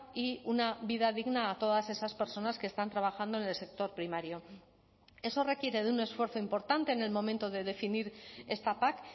y una vida digna a todas esas personas que están trabajando en el sector primario eso requiere de un esfuerzo importante en el momento de definir esta pac